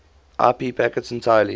ip packets entirely